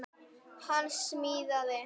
Hann að smíða.